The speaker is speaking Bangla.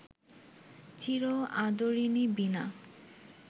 চির আদরিণী বীণা